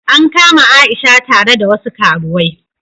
An kama Aisha tare da wasu karuwai.